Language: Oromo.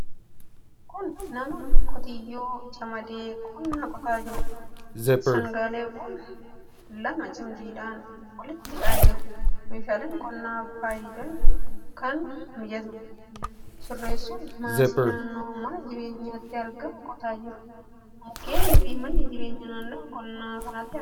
Kun nama qotiyyoo camadee qonna qotaa jiruudha. Sangaawwan lama cimdiidhaan walitti hidhee jira. Meeshaalee qonnaaf fayyadan akka mijatutti sirreessuun maasii naannoo mana jireenyaatti argamu qotaa jira. Mukkeeniifi manni jireenyaa naannoo qonna kanaatti argamu.